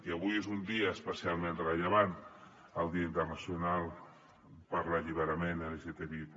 i avui és un dia especialment rellevant el dia internacional per l’alliberament lgtbi+